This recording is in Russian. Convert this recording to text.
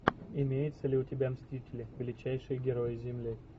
имеется ли у тебя мстители величайшие герои земли